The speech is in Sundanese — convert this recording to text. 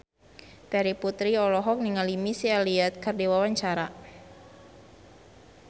Terry Putri olohok ningali Missy Elliott keur diwawancara